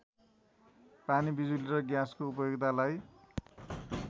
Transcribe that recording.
पानी बिजुली र ग्याँसको उपयोगितालाई